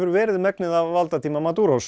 verið megnið af valdatíma